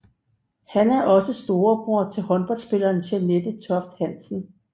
Han er også storebror til håndboldspilleren Jeanette Toft Hansen